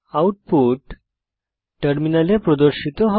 output টার্মিনালে প্রদর্শিত হবে